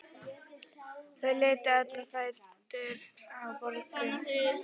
Þau litu öll á fæturna á Boggu.